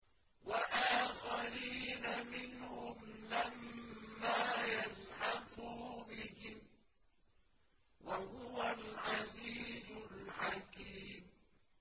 وَآخَرِينَ مِنْهُمْ لَمَّا يَلْحَقُوا بِهِمْ ۚ وَهُوَ الْعَزِيزُ الْحَكِيمُ